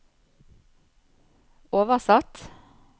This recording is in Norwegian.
oversatt